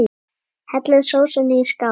Hellið sósunni í skál.